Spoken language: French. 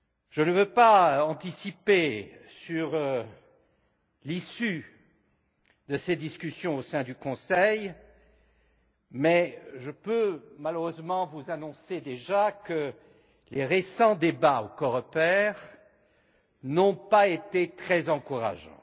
Je ne veux pas anticiper sur l'issue de ces discussions au sein du Conseil, mais je peux, malheureusement, d'ores et déjà vous annoncer que les récents débats au Coreper n'ont pas été très encourageants.